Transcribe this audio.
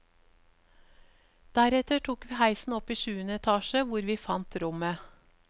Deretter tok vi heisen opp i sjuende etasje hvor vi fant rommet.